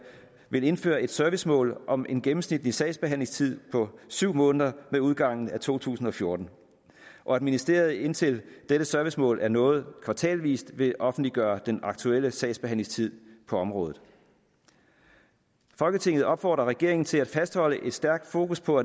vil indføre et servicemål om en gennemsnitlig sagsbehandlingstid på syv måneder med udgangen af to tusind og fjorten og at ministeriet indtil dette servicemål er nået kvartalsvist vil offentliggøre den aktuelle sagsbehandlingstid på området folketinget opfordrer regeringen til at fastholde et stærkt fokus på